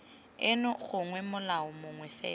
eno gongwe molao mongwe fela